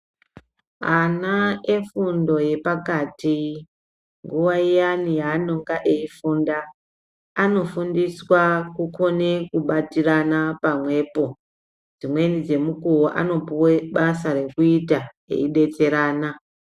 Ana efundo yepakati nguwa iyani yanonga eifunda anofundiswa kukone kubatirana pamwepo. Dzimweni dzemukuwo anopuwe basa rekuita eidetserana.